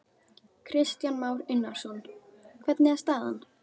Kristján Már Unnarsson: Hvernig er staðan?